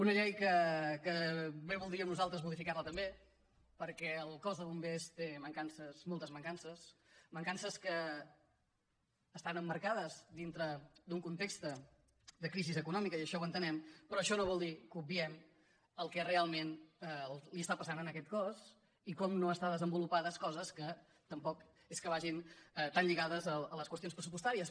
una llei que bé voldríem nosaltres modificar la també perquè el cos de bombers té moltes mancances mancances que estan emmarcades dintre d’un context de crisi econòmica i això ho entenem però això no vol dir que obviem el que realment li està passant a aquest cos i com no estan desenvolupades coses que tampoc és que vagin tan lligades a les qüestions pressupostàries